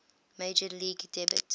major league debut